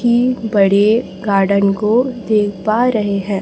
बड़े गार्डन को देख पा रहे हैं।